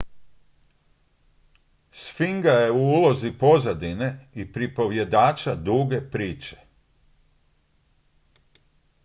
sfinga je u ulozi pozadine i pripovjedača duge priče